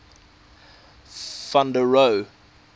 van der rohe